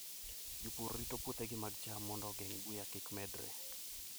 Jopur rito puothegi mag cham mondo ogeng' buya kik medre.